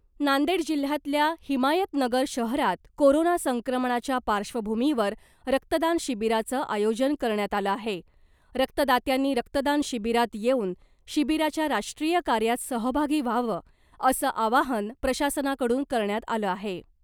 नांदेड जिल्ह्यातल्या हिमायतनगर शहरात कोरोना संक्रमणाच्या पार्श्वभुमीवर रक्तदान शिबिराचं आयोजन करण्यात आलं आहे , रक्तदात्यांनी रक्तदान शिबिरात येवुन शिबिराच्या राष्ट्रीय कार्यात सहभागी व्हावं असं आवाहन प्रशासना कडून करण्यात आलं आहे .